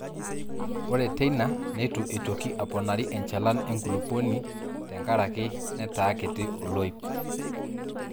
Ore teina neitu eitoki aponari enchalan enkulupuoni tenkaraki nataakiti olaip.